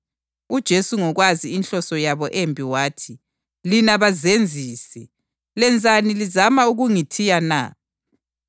UJesu ngokwazi inhloso yabo embi wathi, “Lina bazenzisi, lenzani lizama ukungithiya na?